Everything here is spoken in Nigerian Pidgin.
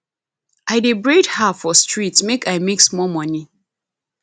i dey braid her for street make i make small moni